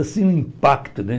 Assim, um impacto, né?